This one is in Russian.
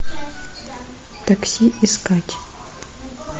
такси искать